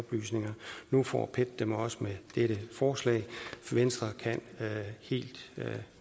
nu får pet dem også med dette forslag venstre kan